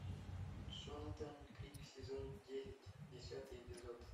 джонатан крик сезон девять десятый эпизод